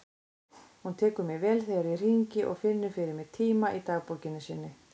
Hún tekur mér vel þegar ég hringi og finnur fyrir mig tíma í dagbókinni sinni.